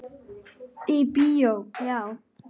Í bíó, já?